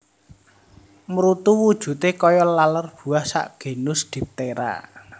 Mrutu wujute kaya laler buah sak genus diptera